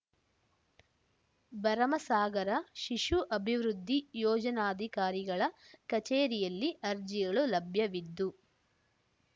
ಭರಮಸಾಗರ ಶಿಶು ಅಭಿವೃದ್ಧಿ ಯೋಜನಾಧಿಕಾರಿಗಳ ಕಚೇರಿಯಲ್ಲಿ ಅರ್ಜಿಗಳು ಲಭ್ಯವಿದ್ದು